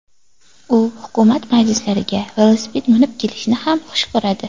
U hukumat majlislariga velosiped minib kelishni ham xush ko‘radi .